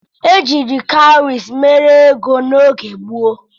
Ejiiri kawụrị mere ego n'oge gboo